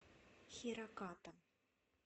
хираката